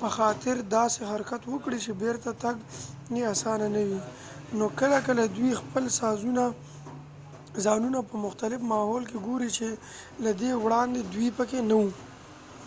پخاطر داسې حرکت وکړي چې بیرته تګ یې آسانه نه وي نو کله کله دوی خپل ځانونه په مختلف ماحول کې ګوري چې له دې وړاندې دوی پکې نه وو